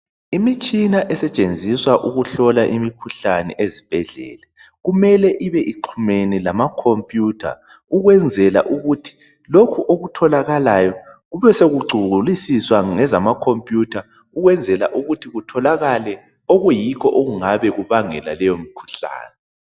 Imitshina esetshenziswa ukuhlola imikhuhlane ezibhedlela kumele ibe ixhumene lamakhompuyutha ukwenzela ukuthi lokhu okutholakalayo kube sekucungulusiswa ngezamakhompuyutha ukwenzela ukuthi kutholakale okuyikho okungabe kubangela leyomikhuhlane.